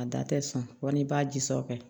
A da tɛ sɔn walima i b'a ji sɔ